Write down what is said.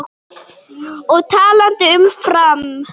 Og talandi um Fram.